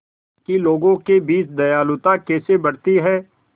कि लोगों के बीच दयालुता कैसे बढ़ती है